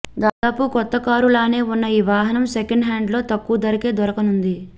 దాదాపు కొత్త కారులానే ఉన్న ఈ వాహనం సెకండ్ హ్యాండ్లో తక్కువ ధరకే దొరకనుంది